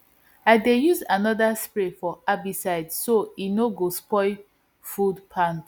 i dey use another spray for herbicide so e no go spoil food plats